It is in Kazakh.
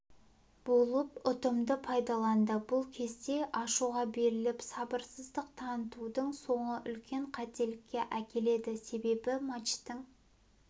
болып ұтымды пайдаланды бұл кезде ашуға беріліп сабырсыздық танытудың соңы үлкен қателікке әкеледі себебі матчтың